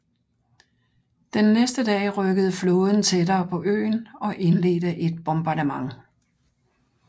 Den næste dag rykkede flåden tættere på øen og indledte et bombardement